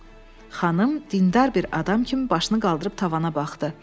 Xanım dindar bir adam kimi başını qaldırıb tavana baxdı.